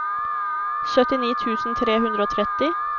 syttini tusen tre hundre og tretti